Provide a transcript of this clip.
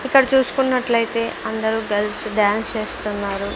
ఇక్కడ చూసుకున్నట్లయితే అందరూ గర్ల్స్ డాన్స్ చేస్తున్నారు.